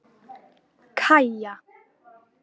Kaja